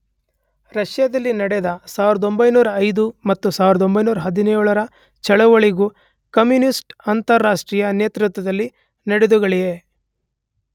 ರಷ್ಯದಲ್ಲಿ ನಡೆದ 1905 ಮತ್ತು 1917ರ ಚಳವಳಿಗಳೂ ಕಮ್ಯೂನಿಸ್್ಟ ಅಂತಾರಾಷ್ಟ್ರೀಯದ ನೇತೃತ್ವದಲ್ಲಿ ನಡೆದವುಗಳೇ.